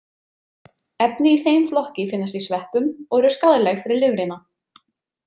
Efni í þeim flokki finnast í sveppum og eru skaðleg fyrir lifrina.